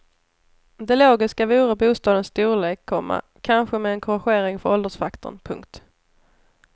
Det logiska vore bostadens storlek, komma kanske med en korrigering för åldersfaktorn. punkt